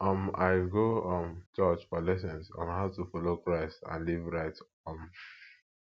um i go um church for lessons on how to follow christ and live right um